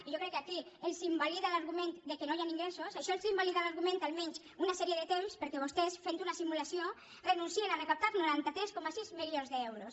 i jo crec que aquí els invalida l’argument que no hi han ingressos això els invalida l’argument almenys una sèrie de temps perquè vostès fent una simulació renuncien a recaptar noranta tres coma sis milions d’euros